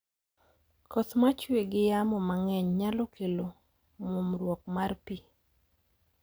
Koth machue gi yamo mang'eny nyalo kelo muomruok mar pi.